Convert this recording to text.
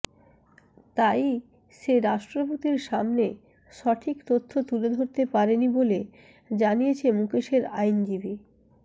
তাই সে রাষ্ট্রপতির সামনে সঠিক তথ্য তুলে ধরতে পারেনি বলে জানিয়েছে মুকেশের আইনজীবী